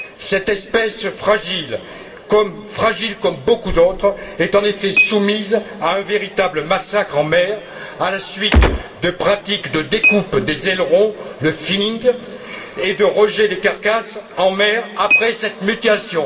Cette espèce fragile, comme beaucoup d'autres, est en effet soumise à un véritable massacre en mer à la suite de pratiques de découpe des ailerons, le finning et de rejets des carcasses en mer après cette mutilation.